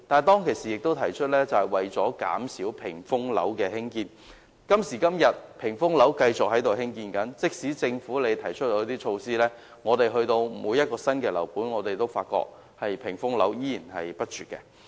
當時也提出減少興建"屏風樓"，但今時今日，發展商仍繼續興建"屏風樓"，即使政府提出一些措施，但每個新樓盤的"屏風樓"仍然不絕。